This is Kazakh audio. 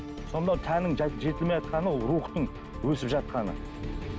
сонда тәннің жетілмей ол рухтың өсіп жатқаны